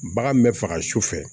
Bagan min bɛ faga su fɛ